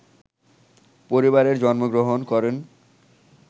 পরিবারে জন্মগ্রহণ করেন